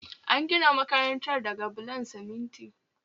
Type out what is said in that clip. An gina makarantar daga bulon siminti